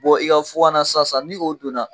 i ka na sisan sisan ni o donna